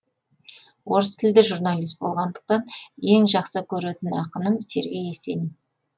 орыс тілді журналист болғандықтан ең жақсы көретін ақыным сергей есенин